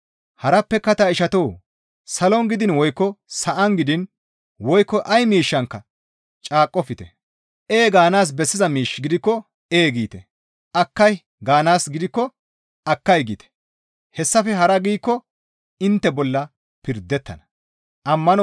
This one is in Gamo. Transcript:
Harappeka ta ishatoo! Salon gidiin woykko sa7an gidiin woykko ay miishshankka caaqqofte; «Ee» gaanaas bessiza miish gidikko, «Ee» giite. «Akkay» gaanaas gidikko, «Akkay» giite; hessafe hara giikko intte bolla pirdettana.